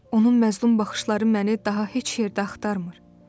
Onun məzlum baxışları məni daha heç yerdə axtarmır.